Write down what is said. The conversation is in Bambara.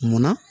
Munna